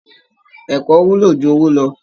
Ẹ̀kọ́ wúlò jù owó lọ